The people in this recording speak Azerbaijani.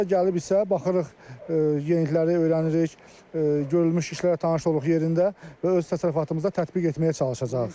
Burada gəlib isə baxırıq, yenilikləri öyrənirik, görülmüş işlərlə tanış oluruq yerində və öz təsərrüfatımızda tətbiq etməyə çalışacağıq.